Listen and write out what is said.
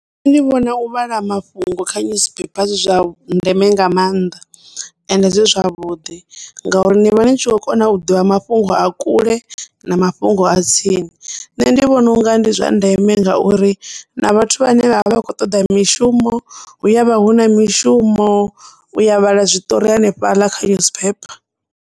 Nṋe ndi vhona u vhala mafhungo kha nyusiphepha zwi zwa ndeme nga maanḓa, ende zwi zwavhuḓi ngauri ni vha ni tshi kho kona u ḓivha mafhungo a kule na mafhungo a tsini nṋe ndi vhona unga ndi zwa ndeme ngauri na vhathu vhane vhavha vha khou toḓa mishumo hu ya vha hu na mishumo uya vhala zwiṱori hanefhaḽa kha nyusiphepha.